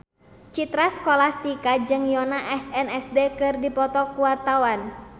Citra Scholastika jeung Yoona SNSD keur dipoto ku wartawan